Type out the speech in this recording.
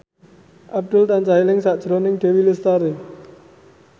Abdul tansah eling sakjroning Dewi Lestari